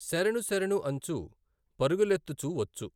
శరణు శరణుఅంచు పరుగులెత్తుచు వచ్చు.